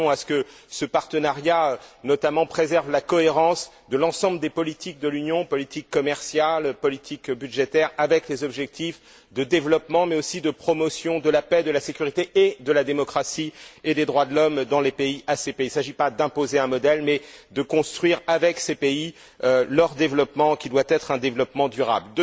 Nous tenons à ce que ce partenariat préserve notamment la cohérence de l'ensemble des politiques de l'Union politique commerciale, politique budgétaire avec les objectifs de développement, mais aussi de promotion de la paix, de la sécurité et de la démocratie et des droits de l'homme dans les pays ACP. Il ne s'agit pas d'imposer un modèle, mais de construire, avec ces pays, leur développement, qui doit être un développement durable.